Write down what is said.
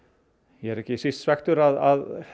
ég er ekki síst svekktur að